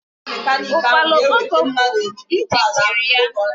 Ukwala okpoko gburu, ntị chiri ya.